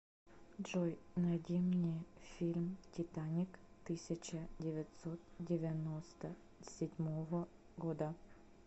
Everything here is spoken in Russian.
джой найди мне фильм титаник тысяча девятсот девяносто седьмого года